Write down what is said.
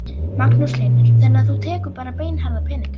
Magnús Hlynur: Þannig að þú tekur bara beinharða peninga?